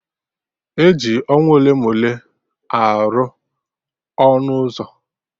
E ji ọnwa ole ma ole arụ ọnụ ụzọ